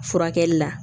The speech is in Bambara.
Furakɛli la